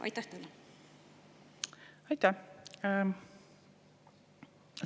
Aitäh!